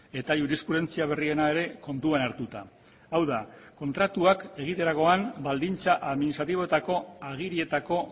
eta jurisprudentzia berriena ere kontuan hartuta hau da kontratuak egiterakoan baldintza administratiboetako agirietako